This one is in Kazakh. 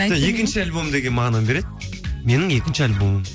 екінші альбом деген мағынаны береді менің екінші альбомым